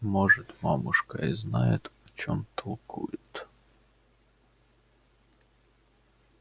может мамушка и знает о чём толкует